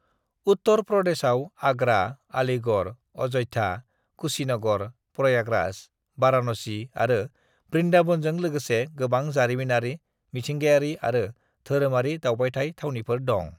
"उत्तर प्रदेशआव आगरा, आलीगढ़, अय'ध्या, कुशीनगर, प्रयागराज, बाराणसी आरो बृन्दाबनजों लोगोसे गोबां जारिमिनारि, मिथिंगायारि आरो धोरोमारि दावबायथाय थावनिफोर दं।"